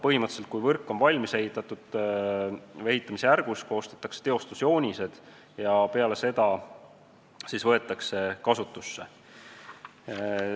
Põhimõtteliselt on nii, et kui võrk on valmis ehitatud või ehitamisjärgus, koostatakse teostusjoonised ja peale seda võetakse võrk kasutusse.